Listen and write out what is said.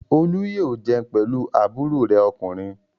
Olú yóò jẹun pẹ̀lú àbúrò rẹ̀ ọkùnrin.